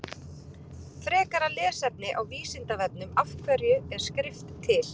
Frekara lesefni á Vísindavefnum Af hverju er skrift til?